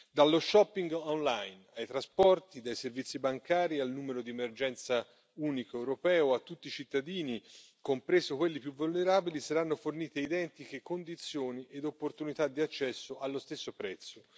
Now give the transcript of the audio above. Dallo shopping online ai trasporti, dai servizi bancari al numero di emergenza unico europeo a tutti i cittadini, compresi quelli più vulnerabili, saranno fornite identiche condizioni ed opportunità di accesso allo stesso prezzo.